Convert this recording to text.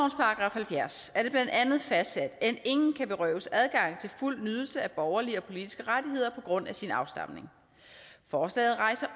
halvfjerds er det blandt andet fastsat at ingen kan berøves adgang til fuld nydelse af borgerlige og politiske rettigheder på grund af sin afstamning forslaget rejser